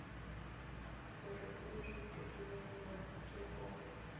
gore o retelelwe ke go